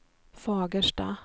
Fagersta